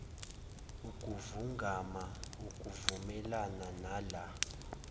ukuvungama okuvumelana nala